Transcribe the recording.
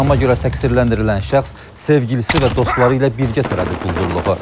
İttihama görə təqsirləndirilən şəxs sevgilisi və dostları ilə birgə törədib quldurluğu.